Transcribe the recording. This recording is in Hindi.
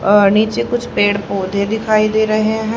अ नीचे कुछ पेड़ पौधे दिखाई दे रहे हैं।